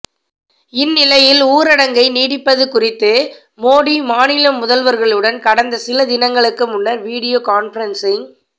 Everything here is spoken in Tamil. இந்நிலையி ஊரடங்கை நீட்டிப்பது குறித்து மோடி மாநில முதல்வர்களுடன் கடந்த சில தினங்களுக்கு முன்னர் வீடியோ கான்பரன்ஸிங்